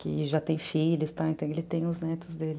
Que já tem filhos, então ele tem os netos dele.